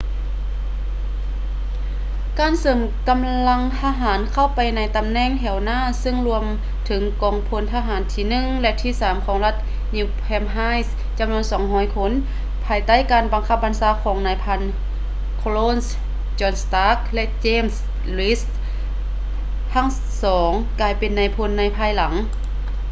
ການເສີມກຳລັງທະຫານເຂົ້າໄປໃນຕຳແໜ່ງແຖວໜ້າເຊິ່ງລວມເຖິງກອງພົນທະຫານທີ 1 ແລະ ທີ3 ຂອງລັດ new hampshire ຈຳນວນ 200 ຄົນ ພາຍໃຕ້ການບັງຄັບບັນຊາຂອງນາຍພັນ colonels john stark ແລະ james reed ທັງສອງກາຍເປັນນາຍພົນໃນພາຍຫຼັງ